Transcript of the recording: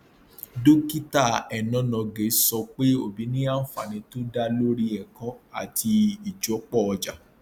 dókítà enonogie sọ pé obi ní ànfàní tó dá lórí ẹkọ àti ìjọpọ ọjà